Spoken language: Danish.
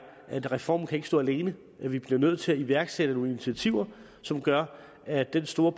at reformen ikke kan stå alene at vi bliver nødt til at iværksætte nogle initiativer som gør at den store